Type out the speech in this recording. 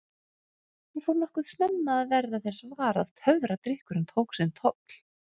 Ég fór nokkuð snemma að verða þess var að töfradrykkurinn tók sinn toll.